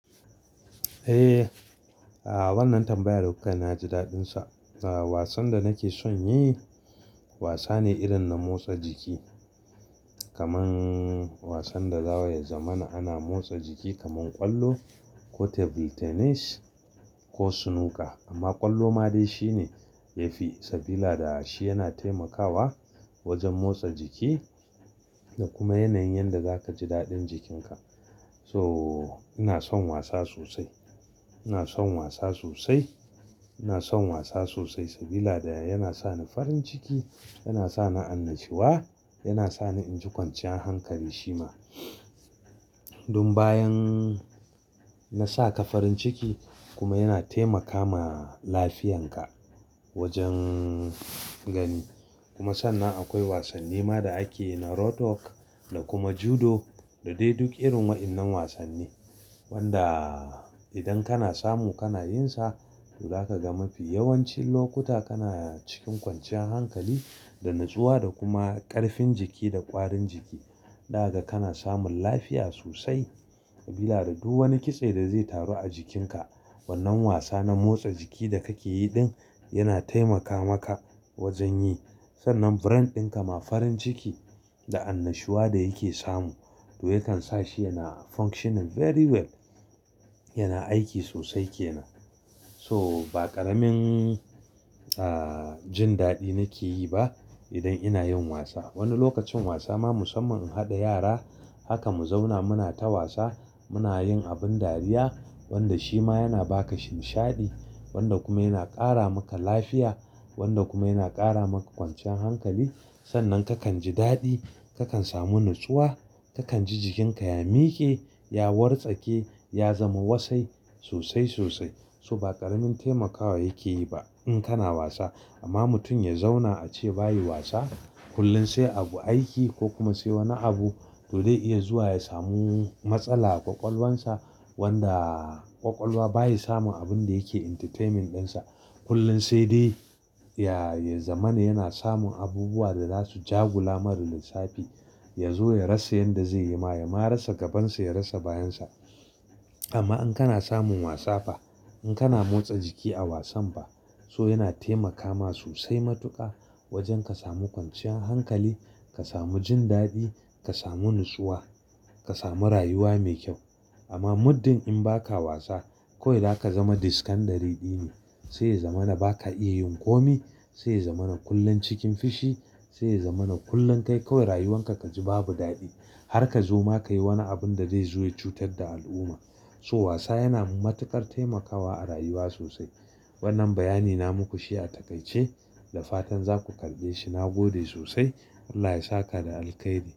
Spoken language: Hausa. Eh, a wannan tambayar kukai na ji daɗin sa. A wasan da nake son yi wasa ne irin na motsa jiki, kaman wasan da zawa ya zama na ana motsa jiki kaman ƙwallo ko table tennis ko snooker. Amma ƙwallo ma dai shi ne yafi sabila da shi yana taimakawa wajen motsa jiki da kuma yanayin yanda zaka ji daɗin jikinka. So ina son wasa sosai, ina son wasa sosai, ina son wasa sosai sabila da yana sa ni farin ciki, yana sa ni annashiwa, yana sa ni in ji kwanciyan hankali shi ma. Dun bayan na saka farin ciki kuma yana taimaka ma lafiyanka wajen gani. Kuma sannan akwai wasanni ma da ake yi na road work da kuma Judo da dai duk irin waƴannan wasanni. Wanda idan kana samu kana yin sa to zaka ga mafi yawancin lokuta kana cikin kwanciyan hankali da natsuwa da kuma ƙarfin jiki da ƙwarin jiki. Ɗaga kana samun lafiya sosai sabila da duk wani kitse da zai taru a jikinka wannan wasa na motsa jiki da kake yi din yana taimaka maka wajen yi. Sannan brain ɗinka ma farin ciki da annashuwa da yake samu to yakan sa shi yana functioning very well. Yana aiki sosai kenan. So ba ƙaramin, ah, jin daɗi nake yi ba idan ina yin wasa. Wani lokacin wasa ma musamman harda yara haka mu zauna muna ta wasa, muna yin abin dariya wanda shi ma yana ba ka shimshaɗi wanda kuma yana ƙara maka lafiya wanda kuma yana ƙara maka kwanciyan hankali. Sannan kakan ji daɗi, kakan samu natsuwa, kakan ji jikinka ya miƙe, ya wartsake, ya zama wasai sosai sosai. So ba ƙaramin taimakawa yake yi ba in kana wasa. Amma mutum ya zauna a ce ba yi wasa kullum sai abu aiki ko kuma sai wani abu to dai iya zuwa ya samu matsala a ƙwaƙwalwansa. Wanda ƙwaƙwalwa baya samun abun da yake entertaining ɗinsa. Kullum sai dai ya, ya zama na yana samun abubuwa da za su ja-gula mar lissafi. Ya zo ya rasa yanda zai yi ma, ya ma rasa gabansa, ya rasa bayansa. Amma in kana samun wasa fa, in kana motsa jiki a wasan fa so yana taimakama sosai matuƙa wajen ka samu kwanciyan hankali, ka samu jin daɗi, ka samu natsuwa, ka samu rayuwa me kyau. Amma muddin in ba ka wasa kawai da aka zama dis kandari ɗi ne. Sai ya zama na ba ka iya yin komai. Sai ya zama na kullum cikin fushi. Sai ya zama na kullum kai kawai rayuwanka ka ji babu daɗi har ka zo ma ka yi wani abun da ze zo ya cutar da al'umma. So wasa yana matuƙar taimakawa a rayuwa sosai. Wannan bayani na muku shi ya takaice da fatan za ku karɓe shi. Na gode sosai. Allah ya sa ka da alkhairi.